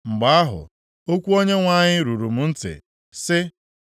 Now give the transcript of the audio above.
Mgbe ahụ, okwu Onyenwe anyị ruru m ntị, sị,